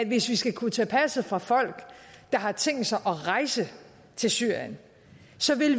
hvis vi skal kunne tage passet fra folk der har tænkt sig at rejse til syrien